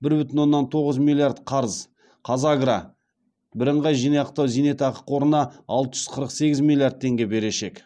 бір бүтін оннан тоғыз миллиард қарыз казагро бірынғай зейнетақы жинақтау қорына алты жүз қырық сегіз миллиард теңге берешек